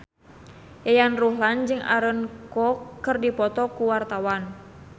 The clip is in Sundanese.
Yayan Ruhlan jeung Aaron Kwok keur dipoto ku wartawan